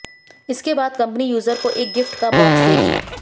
इसके बाद company user को एक गिफ्ट का बॉक्स देगी